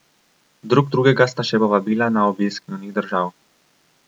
Drug drugega sta še povabila na obisk njunih držav.